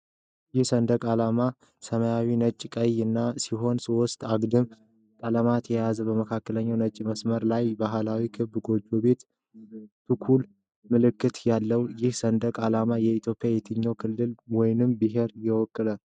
ይህ ሰንደቅ ዓላማ ሰማያዊ፣ ነጭ እና ቀይ ሆኖ ሦስት አግድም ቀለሞችን የያዘ ነው። በመካከለኛው ነጭ መስመር ላይ ባህላዊ ክብ ጎጆ ቤት (ቱኩሉ) ምልክት ይታያል። ይህ ሰንደቅ ዓላማ የኢትዮጵያ የትኛውን ክልል ወይም ብሔር ይወክላል?